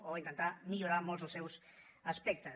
o intentar millorar molt els seus aspectes